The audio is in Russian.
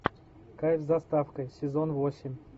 кайф с доставкой сезон восемь